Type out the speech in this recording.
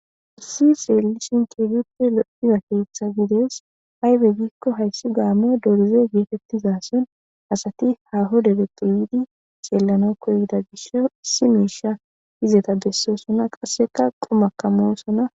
Issi seelishin keeguppe loiza keeththa gides aybe gikko hayssi gaammo dorize geetettizason asati haho debeqqu yiidi ceellana koyida gish issi muisha izeta bessosona qasseka qomakamosona